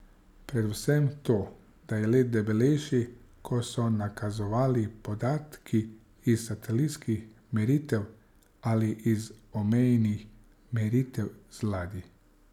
Predvsem to, da je led debelejši, kot so nakazovali podatki iz satelitskih meritev ali iz omejenih meritev z ladij.